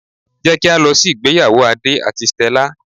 Jé kí á lọ sí ìgbéyàwó Adé àti Stella